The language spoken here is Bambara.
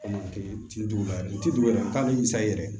yɛrɛ